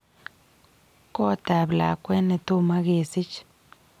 Koot ap lakwet netoma kesich